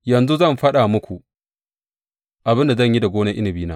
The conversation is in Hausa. Yanzu zan faɗa muku abin da zan yi da gonar inabina.